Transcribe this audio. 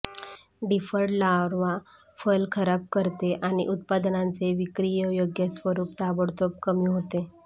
deferred larva फल खराब करते आणि उत्पादनांचे विक्रीयोग्य स्वरूप ताबडतोब कमी होते